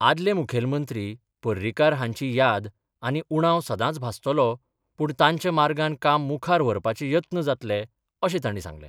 आदले मुखेलमंत्री पर्रीकार हांची याद आनी उणाव सदांच भासतलो पूण तांच्या मार्गान काम मुखार व्हरपाचें यत्न जातलें अशें तांणी सांगलें.